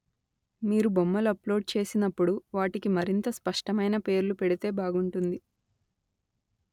మీరు బొమ్మలు అప్‌లోడ్ చేసినప్పుడు వాటికి మరింత స్పష్టమైన పేర్లు పెడితే బాగుంటుంది